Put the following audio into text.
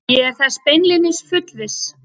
Ég er þess beinlínis fullviss